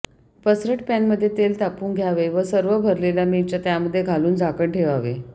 पसरट पॅनमध्ये तेल तापवून घ्यावे व सर्व भरलेल्या मिरच्या त्यामध्ये घालून झाकण ठेवावे